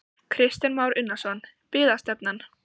Kristján Már Unnarsson: Byggðastefnan?